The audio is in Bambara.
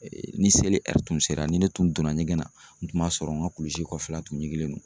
Ni seli tun sera ni ne tun donna ɲɛgɛn na, n tun b'a sɔrɔ n ka kulisi kɔfɛla tun ɲiginlen don